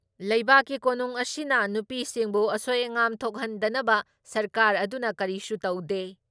ꯂꯩꯕꯥꯛꯀꯤ ꯀꯣꯅꯨꯡ ꯑꯁꯤꯅ ꯅꯨꯄꯤꯁꯤꯡꯕꯨ ꯑꯁꯣꯏ ꯑꯉꯥꯝ ꯊꯣꯛꯍꯟꯗꯅꯕ ꯁꯔꯀꯥꯔ ꯑꯗꯨꯅ ꯀꯔꯤꯁꯨ ꯇꯧꯗꯦ ꯫